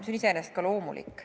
See on iseenesest ka loomulik.